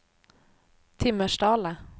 Timmersdala